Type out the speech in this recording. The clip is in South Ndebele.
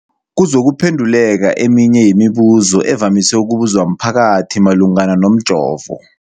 kuzokuphe nduleka eminye yemibu zo evamise ukubuzwa mphakathi malungana nomjovo.